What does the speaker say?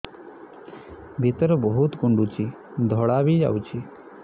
ଭିତରେ ବହୁତ କୁଣ୍ଡୁଚି ଧଳା ବି ଯାଉଛି